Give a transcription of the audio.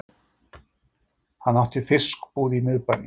Hann átti fiskbúð í miðbænum.